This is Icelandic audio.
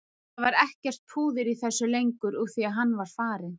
Það var ekkert púður í þessu lengur úr því að hann var farinn.